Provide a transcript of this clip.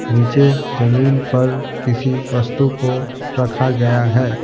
नीचे जमीन पर किसी वस्तु को रखा गया है।